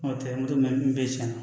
N'o tɛ moto mɛ cɛn na